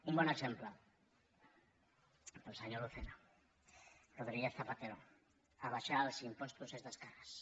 un bon exemple per al senyor lucena rodríguez zapatero abaixar els impostos és d’esquerres